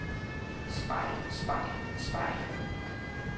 spejl spejl spejl